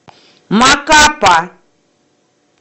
макапа